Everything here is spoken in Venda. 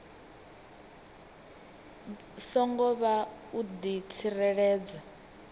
songo vha u di tsireledza